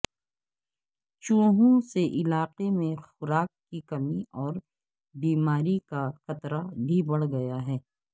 چوہوں سے علاقے میں خوراک کی کمی اور بیماری کا خطرہ بھی بڑھ گیا ہے